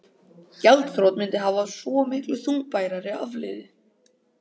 Gjaldþrot mundi hafa svo miklu þungbærari afleið